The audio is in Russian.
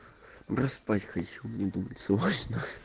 да спать хочу мне думать сложно